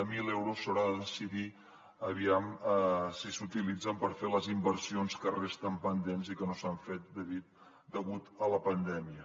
zero euros s’haurà de decidir aviam si s’utilitzen per fer les inversions que resten pendents i que no s’han fet degut a la pandèmia